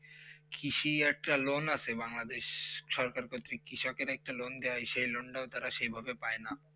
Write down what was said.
কৃষি একটা লোন আছে বাংলাদেশ আছে বাংলাদেশ ক্রিসকে একটা লোন দেবা সেই লোন তা সেই ভাবে পায়ে না